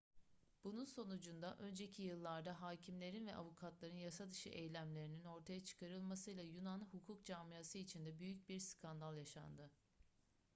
bunun sonucunda önceki yıllarda hâkimlerin ve avukatların yasadışı eylemlerinin ortaya çıkarılmasıyla yunan hukuk camiası içinde büyük bir skandal yaşandı